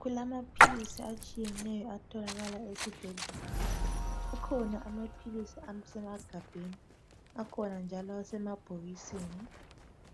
Kulamaphilisi atshiyeneyo atholakala asibhedlela kukhona amaphilisi asemagabheni akhona njalo asemabhokisini